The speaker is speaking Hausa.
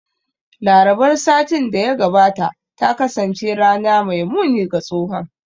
Larabar satin da ya gabata ta kasance rana mai muni ga tsohon